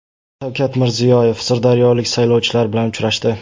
Shavkat Mirziyoyev sirdaryolik saylovchilar bilan uchrashdi.